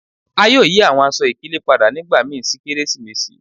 A yoo yi awọn aṣọ-ikele pada nigbamii ti keresimesi